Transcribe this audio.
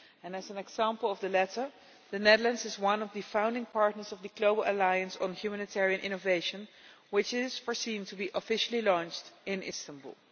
As an example of the latter, the Netherlands is one of the founding partners of the Global Alliance for Humanitarian Innovation, which is foreseen to be officially launched in Istanbul.